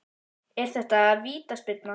Er þetta vítaspyrna?